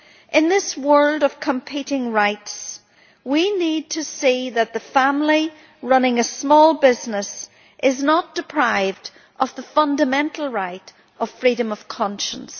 In this world of competing rights, we need to see that a family running a small business is not deprived of the fundamental right of freedom of conscience.